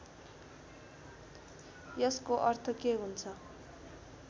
यसको अर्थ के हुन्छ